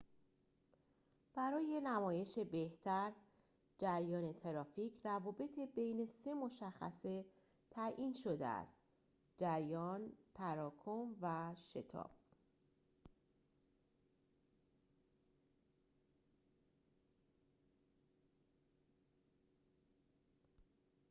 برای نمایش بهتر جریان ترافیک، روابط بین سه مشخصه تعیین شده است: 1 جریان، 2تراکم، و 3 شتاب